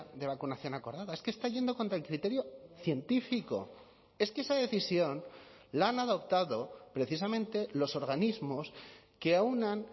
de vacunación acordada es que está yendo contra el criterio científico es que esa decisión la han adoptado precisamente los organismos que aúnan